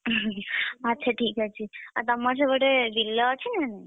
ଆଚ୍ଛା ଠିକ୍ ଅଛି ଆଉ ତମର ସେପଟେ ବିଲ ଅଛି ନା ନାହିଁ?